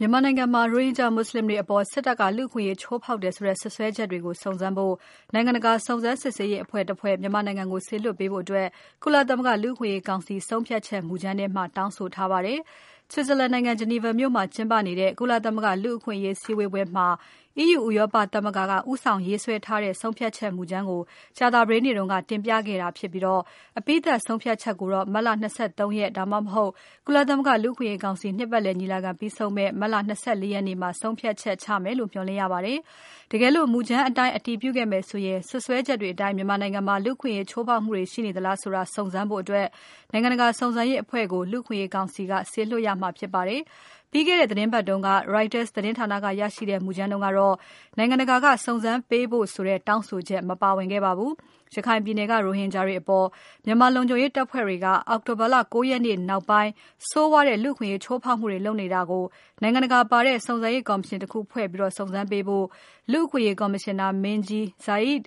မြန်မာနိုင်ငံမှာ ရိုဟင်ဂျာမွတ်စလင်တွေအပေါ် စစ်တပ်ကလူ့အခွင့်အရေးချိုးဖောက်တယ်ဆိုတဲ့ စွပ်စွဲချက်တွေကို စုံစမ်းဖို့ နိုင်ငံတကာ စုံစမ်းစစ်ဆေးရေးအဖွဲ့တဖွဲ့ မြန်မာနိုင်ငံကို စေလွှတ်ပေးဖို့ ကုလသမဂ္ဂလူ့အခွင့်အရေးကောင်စီရဲ့ မြန်မာနိုင်ငံဆိုင်ရာ ဆုံးဖြတ်ချက်မူကြမ်းထဲမှာ တောင်းဆိုထားပါတယ်။ Switzerland နိုင်ငံ Geneva မြို့မှာကျင်းပနေတဲ့ ကုလသမဂ္ဂလူ့အခွင့်အရေး စည်းဝေးပွဲမှာ EU ကဦးဆောင်ရေးဆွဲထားတဲ့ ဆုံးဖြတ်ချက်မူကြမ်းကို ကြာသပတေးနေ့က တင်ပြခဲ့တာဖြစ်ပြီး အပြီးသတ်ဆုံးဖြတ်ချက်ကို မတ်လ ၂၃ ရက် ဒါမှမဟုတ် ကုလသမဂ္ဂ လူ့အခွင့်အရေးကောင်စီ နှစ်ပတ်လည် ညီလာခံပြီးဆုံးမယ့် မတ်လ ၂၄ ရက်မှာ ဆုံးဖြတ်ချက်ချမယ်လို့ မျှော်လင့်ရပါတယ်။ တကယ်လို့ မူကြမ်းအတိုင်းအတည်ပြုခဲ့မယ်ဆိုရင် စွပ်စွဲချက်တွေအတိုင်း မြန်မာနိုင်ငံမှာ လူ့အခွင့်အရေးချိုးဖောက်မှုတွေ ရှိနေသလားဆိုတာ စုံစမ်းဖို့ နိုင်ငံတကာစုံစမ်းရေးအဖွဲ့ကို လူ့အခွင့်အရေးကောင်စီက စေလွှတ်ရမှာဖြစ်ပါတယ်။ ပြီးခဲ့တဲ့ သီတင်းပတ်တုန်းက Reuters သတင်းဌာနက ရရှိခဲ့တဲ့ မူကြမ်းတုန်းကတော့ နိုင်ငံတကာကစုံစမ်းပေးဖို့ဆိုတဲ့ တောင်းဆိုချက် မပါဝင်ခဲ့ပါဘူး။ ရခိုင်ပြည်နယ်က ရိုဟင်ဂျာတွေအပေါ် မြန်မာလုံခြုံရေးတပ်ဖွဲ့တွေက အောက်တိုဘာ ၉ ရက်နေ့နောက်ပိုင်း ဆိုးဝါးတဲ့လူ့အခွင့်ချိုးဖောက်မှုတွေ လုပ်နေတာကို နိုင်ငံတကာပါတဲ့ စုံစမ်းရေးကော်မရှင်တခုဖွဲ့ပြီး စုံစမ်းပေးဖို့ လူ့အခွင့်အရေးကော်မရှင်နာမင်းကြီး Zeid